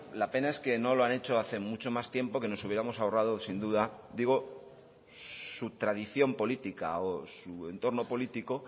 la pena es que no lo han hecho hace mucho más tiempo que nos hubiéramos ahorrado sin duda digo su tradición política o su entorno político